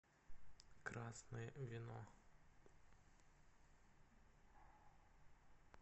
красное вино